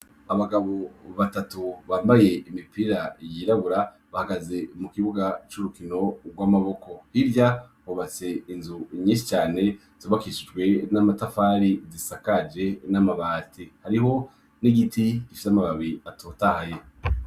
Abagabo batatu bambaye imipira yirabura bahagaze mu kibuga c'urukino rw'amaboko. Hirya hubatse inzu nyinshi cane zubakishijwe n'amatafari zisakaje n'amabati. Hariho n'igiti gifise amababi atotahaye.